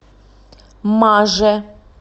маже